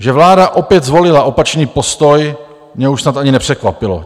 Že vláda opět zvolila opačný postoj, mě už snad ani nepřekvapilo.